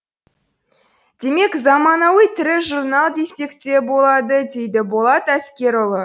демек заманауи тірі журнал десек те болады дейді болат әскерұлы